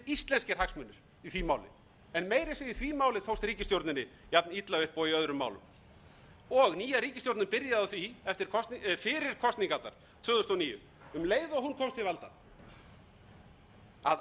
íslenskir hagsmunir í því máli en meira að segja í því máli tókst ríkisstjórninni jafnilla upp og í öðrum málum nýja ríkisstjórnin byrjaði á því fyrir kosningarnar tvö þúsund og níu um leið og hún komst til valda að